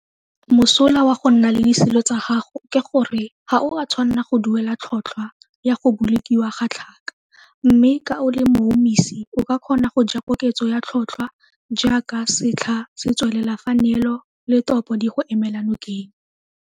Mosola wa go nna le disilo tsa gago ke gore ga o a tshwanna go duela tlhotlhwa ya go bolokiwa ga tlhaka mme ka o le moumisi o ka kgona go ja koketso ya tlhotlhwa jaaka setlha se tswelela fa neelo le topo di go emela nokeng.